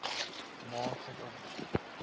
na suid afrika